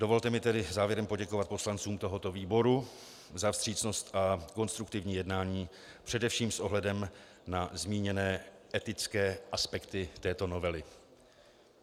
Dovolte mi tedy závěrem poděkovat poslancům tohoto výboru za vstřícnost a konstruktivní jednání především s ohledem na zmíněné etické aspekty této novely.